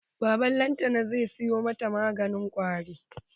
Baban lantana zai siyo mata maganin kwari.